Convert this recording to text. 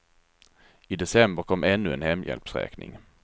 I december kom ännu en hemhjälpsräkning.